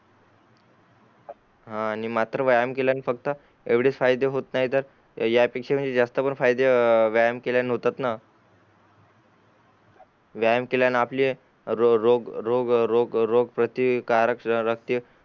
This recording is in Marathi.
हान आणि मात्र व्यायाम केल्याने फक्त एवढेच फायदे होते नाही तर या पेक्षा म्हणजे जास्त पण फायदे व्यायाम केल्याने होतात व्यायाम केल्याने आपले रोग रोग रोगप्रतिकारक रक्ती